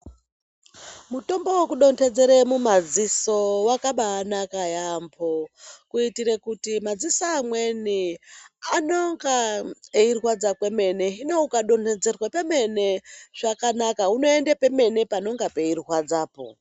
Mutombo wekudonhedzere mumadziso wakabanaka yaamho kuitire kuti madziso amweni anonga eirwadza kwemene, hino ukadonhedzerwa kwemene zvakanaka unoende pemene panonga peirwadzapo.